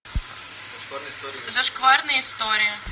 зашкварные истории